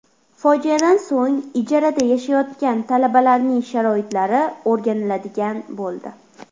Fojiadan so‘ng ijarada yashayotgan talabalarning sharoitlari o‘rganiladigan bo‘ldi .